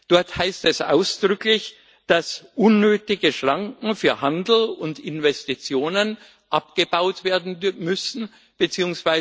Dort heißt es ausdrücklich, dass unnötige Schranken für Handel und Investitionen abgebaut werden müssen bzw.